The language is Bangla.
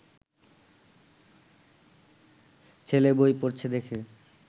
ছেলে বই পড়ছে দেখে